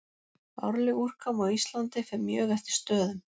Árleg úrkoma á Íslandi fer mjög eftir stöðum.